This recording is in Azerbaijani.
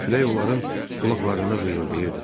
Külək onların qulaqlarında vıyıldayırdı.